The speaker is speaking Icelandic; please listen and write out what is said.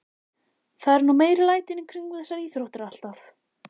Það eru nú meiri lætin í kringum þessar íþróttir alltaf.